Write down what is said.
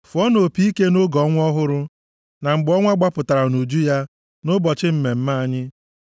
Fụọnụ opi ike nʼoge ọnwa ọhụrụ, na mgbe ọnwa gbapụtara nʼuju ya, nʼụbọchị mmemme anyị;